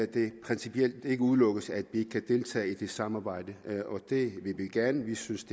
det principielt ikke udelukkes at vi ikke kan deltage i det samarbejde og det vil vi gerne vi synes